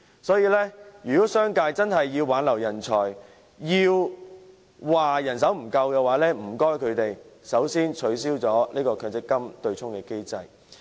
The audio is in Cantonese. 所以，如果商界真的想挽留人才，又抱怨人手不足的話，麻煩他們先取消強積金對沖機制。